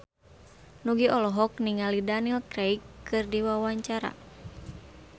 Nugie olohok ningali Daniel Craig keur diwawancara